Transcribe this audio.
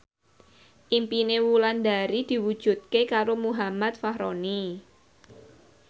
impine Wulandari diwujudke karo Muhammad Fachroni